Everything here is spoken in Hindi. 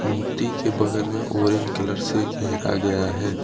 मूर्ति के बगल में ऑरेंज कलर से घेरा गया है।